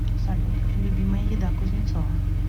салют любимая еда кузнецова